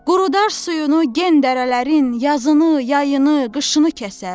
Qurudar suyunu gen dərələrin, yazını, yayını, qışını kəsər.